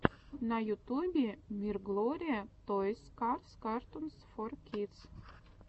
на ютубе мирглори тойс карс картунс фор кидс